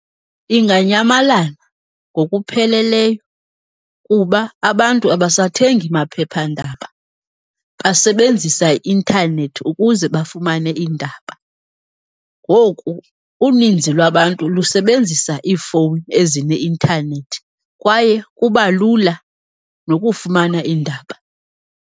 Inganyamalala ngokupheleleyo kuba abantu abasathengi maphephandaba, basebenzisa i-intanethi ukuze bafumane iindaba. Ngoku uninzi lwabantu lusebenzisa iifowuni ezine-intanethi kwaye kuba lula nokufumana iindaba.